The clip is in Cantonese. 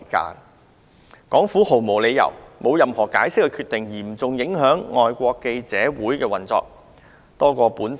特區政府在毫無解釋的情況下作出決定，嚴重影響外國記者會的運作。